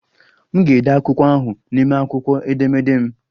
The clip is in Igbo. M ga-ede akwụkwọ ahụ n'ime akwụkwọ edemede m.